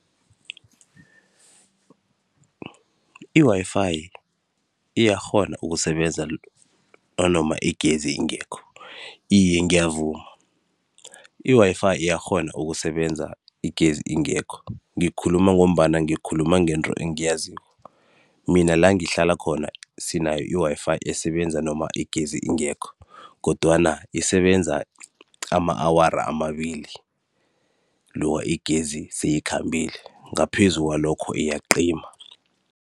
I-Wi-Fi iyakghona ukusebenza nanoma igezi ingekho, iye ngiyavuma. I-Wi-Fi iyakghona ukusebenza igezi ingekho, ngikhuluma ngombana ngikhuluma ngento engiyaziko. Mina langihlala khona sinayo i-Wi-Fi esebenza nanoma igezi ingekho kodwana isebenza ama-awara amabili igezi seyikhambile. Ngaphezu kwalokho iyaqima.